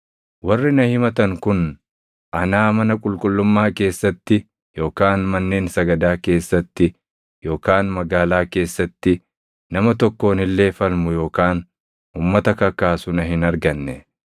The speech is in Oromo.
Warri na himatan kun anaa mana qulqullummaa keessatti yookaan manneen sagadaa keessatti yookaan magaalaa keessatti nama tokkoon illee falmu yookaan uummata kakaasu na hin arganne.